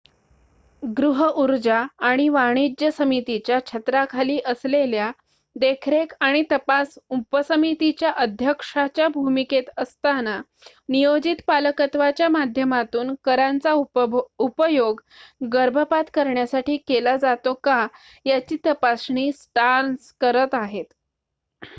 गृहऊर्जा आणि वाणिज्य समितीच्या छत्राखाली असलेल्या देखरेख आणि तपास उपसमितीच्या अध्यक्षाच्या भूमिकेत असताना नियोजित पालकत्वाच्या माध्यमातून करांचा उपयोग गर्भपात करण्यासाठी केला जातो का याची तपासणी स्टार्न्स करत आहेत